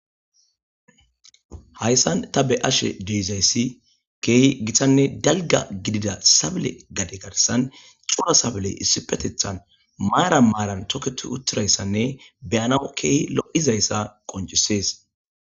Hayssan ta be ashe deizayssi keehi gitanne dalga gidida sabile gade garsan cura sabley issi petethan maara maaran toketu uttirayssanne beyana keehi lo'izayssa qoncisees